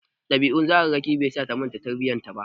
Ɗabi'un tsararraki bai sa ta manta tarbiyyar ta ba.